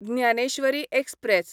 Dnyaneshwari express